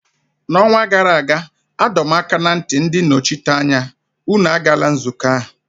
N'ọnwa gara aga, adọ m aka ná ntị ndị nnọchiteanya, unu agala nzukọ ahụ!